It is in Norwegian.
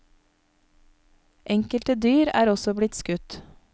Enkelte dyr er også blitt skutt.